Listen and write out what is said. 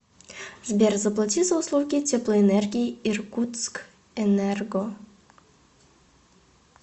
сбер заплати за услуги теплоэнергии иркутскэнерго